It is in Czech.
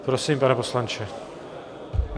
Prosím, pane poslanče.